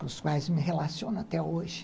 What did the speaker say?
com os quais me relaciono até hoje.